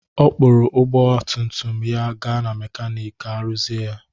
Ọ kpụrụ ọgba tum tum ya gaa na mekanịk ka ọ rụzie ya.